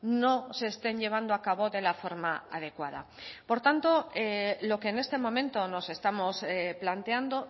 no se estén llevando a cabo de la forma adecuada por tanto lo que en este momento nos estamos planteando